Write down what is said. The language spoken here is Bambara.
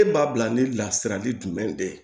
E b'a bila ni lasirali jumɛn de ye